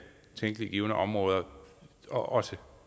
tænkelige givne områder og også